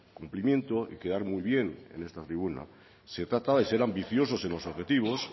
cumplimiento y quedar muy bien en esta tribuna se trata de ser ambiciosos en los objetivos